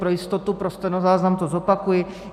Pro jistotu pro stenozáznam to zopakuji.